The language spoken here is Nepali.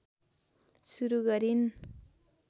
सुरु गरिन्